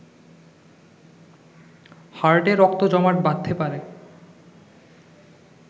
হার্টে রক্ত জমাট বাঁধতে পারে